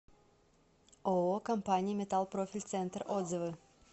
ооо компания металл профиль центр отзывы